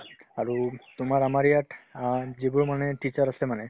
আৰু তোমাৰ আমাৰ ইয়াত অ যিবোৰ মানে teacher আছে মানে